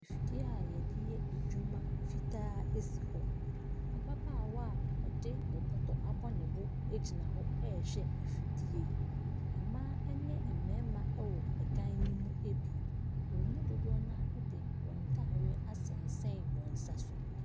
Fidie a yɛde yɛ adwuma fitaa si hɔ. Ababaawa a ɔde ne bɔtɔ abɔ ne bo egyina hɔ ɛrehwɛ afidie yi. Mmaa ne mmarima wɔ dan no mu bi. Wɔn mu dodow no ara de wɔn ntaadeɛ asensɛn wɔn nsa so.